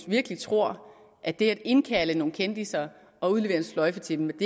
virkelig tror at det at indkalde nogle kendisser og udlevere en sløjfe til dem